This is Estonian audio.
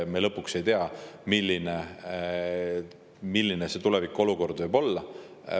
Me lõpuks ei tea, milline see tulevikuolukord võib olla.